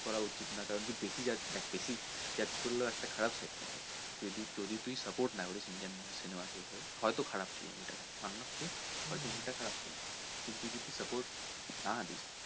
করা উচিৎ না কারন কি বেশি বেশি judge করলেও একটা খারাপ লাগবে যদি তুই support না করিস indian cinema কে হয়তো খারাপ ছিলো movie টা যা হয়তো মানুষের লাগছে যে movie টা হয়তো খারাপ ছিলো কিন্তু তুই যদি support না দিস,